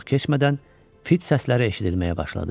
Çox keçmədən fit səsləri eşidilməyə başladı.